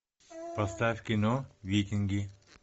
поставь кино викинги